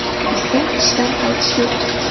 Bizda ishdan qaytish yo‘q.